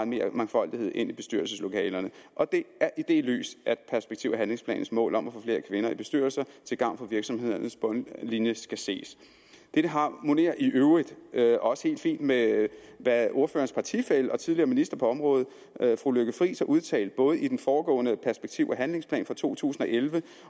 mere mangfoldighed ind i bestyrelseslokalerne og det er i det lys at perspektiv og handlingsplanens mål om at få flere kvinder i bestyrelser til gavn for virksomhedernes bundlinje skal ses dette harmonerer i øvrigt også helt fint med hvad ordførerens partifælle og tidligere minister på området fru lykke friis har udtalt både i den foregående perspektiv og handlingsplan for to tusind og elleve